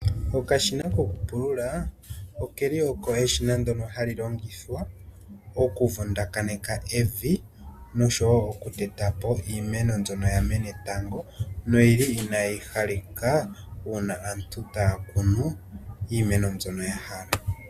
Okashina kokupulula okeli oko eshina ndjono hali longithwa okuvundakaneka evi, noshowo okuteta po iimeno mbyono yamene tango, noyili inayi halika uuna aantu taya kunu iimeno yawo mbyono ya hala.